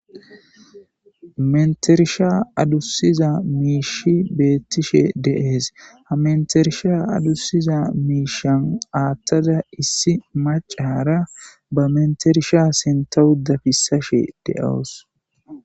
Mettersha adusiza mishshey bettishe de'es. Ha mettersha adusiza misha athada issi mac'ashaya ba metersha sinthe adusashe de'awus.